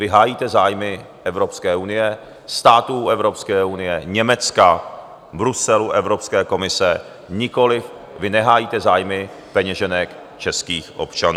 Vy hájíte zájmy Evropské unie, států Evropské unie, Německa, Bruselu, Evropské komise, nikoliv, vy nehájíte zájmy peněženek českých občanů.